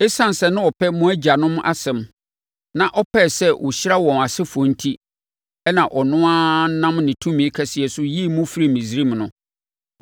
Esiane sɛ na ɔpɛ mo agyanom asɛm, na ɔpɛɛ sɛ ɔhyira wɔn asefoɔ enti na ɔno ara nam ne tumi kɛseɛ so yii mo firii Misraim no.